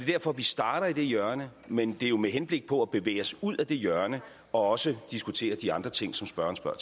derfor vi starter i det hjørne men det er jo med henblik på at bevæge os ud af det hjørne og også diskutere de andre ting som spørgeren spørger